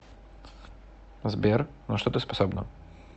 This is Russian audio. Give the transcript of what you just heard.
сбер на что ты способна